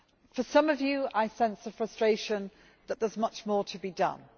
For some of you, I sense a frustration that there is much more to be done.